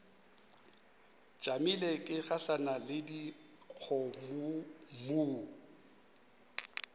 tšamile ke gahlana le dikgomommuu